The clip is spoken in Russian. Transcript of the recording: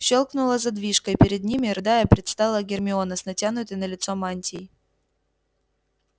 щёлкнула задвижка и перед ними рыдая предстала гермиона с натянутой на лицо мантией